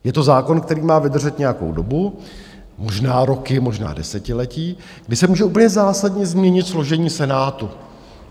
Je to zákon, který má vydržet nějakou dobu, možná roky, možná desetiletí, kdy se může úplně zásadně změnit složení Senátu.